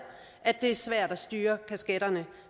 at det er svært at styre kasketterne